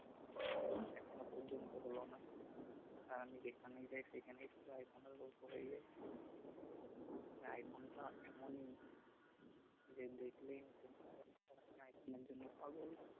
এখনো পর্যন্ত হল না আর আমি যেখানেই যাই সেখানেই শুধু আইফোনের গল্প হয়ে যায় মানে আইফোন টা এমনই যে দেখলেই নিতে মন নিতে চায় এখন আইফোনের জন্য পাগল